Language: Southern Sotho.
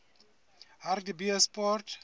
hartbeespoort